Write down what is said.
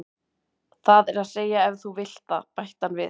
Það er að segja ef þú vilt það, bætti hann við.